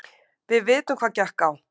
Við vitum hvað gekk á.